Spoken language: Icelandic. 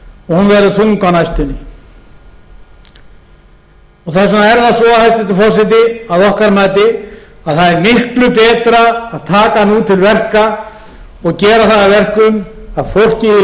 á næstunni þess vegna er það svo hæstvirtur forseti að okkar mati að það er miklu betra að taka nú til verka og gera það að verkum að fólkið í